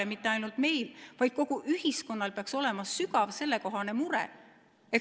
Ja mitte ainult meil, vaid kogu ühiskonnal peaks olema sügav sellekohane mure.